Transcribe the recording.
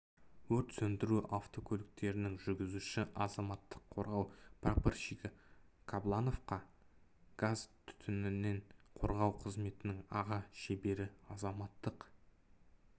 өрт сөндіру автокөліктерінің жүргізушісі азаматтық қорғау прапорщигі қаблановқа газ түтіннен қорғау қызметінің аға шебері азаматтық